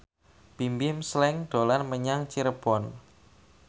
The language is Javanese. Bimbim Slank dolan menyang Cirebon